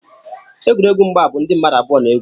egwuregwu mgba bụ ndị mmadụ abụọ na-egwu